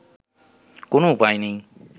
কোন উপায় নেই